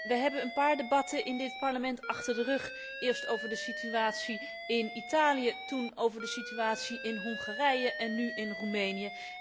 Wij hebben een paar debatten in dit Parlement achter de rug, eerst over de situatie in Italië, toen over de situatie in Hongarije en nu in Roemenië.